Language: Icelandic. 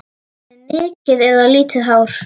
Með mikið eða lítið hár?